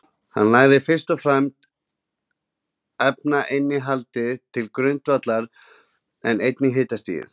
Hann lagði fyrst og fremst efnainnihaldið til grundvallar, en einnig hitastigið.